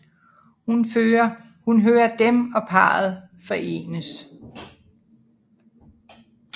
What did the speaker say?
Hun hører dem og parret forenes